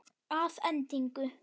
Að endingu